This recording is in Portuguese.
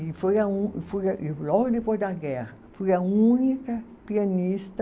E foi a um, fui a, logo depois da guerra, fui a única pianista